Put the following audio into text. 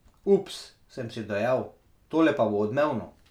Ups, sem si dejal, tole pa bo odmevno.